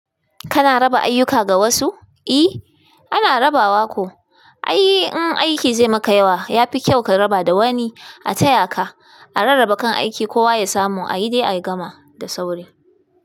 Kana raba ayyuka ga wasu? Ih, ana rabawa ko. Ai in aiki zai maka yawa ya fi kyau ka raba da wani a taya ka, a rarraba kan aiki kowa ya samu ayi dai ayi gama da sauri.